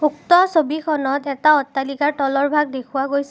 উক্ত ছবিখনত এটা অট্টালিকাৰ তলৰ ভাগ দেখুৱা গৈছে।